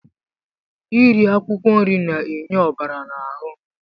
Iri akwụkwọ nri na-enye ọbara n'ahụ.